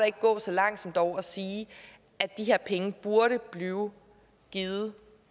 ikke gå så langt som dog til at sige at de her penge burde blive givet